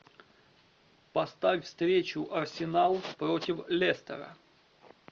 поставь встречу арсенал против лестера